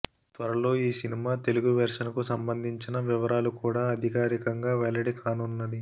త్వరలో ఈ cinema Telugu version కు సంబందించిన వివరాలు కూడా అధికారికంగా వెల్లడి కానున్నది